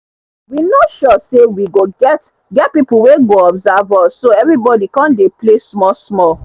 we no sure say we go get get people wey go observe us so everybody come dey play small small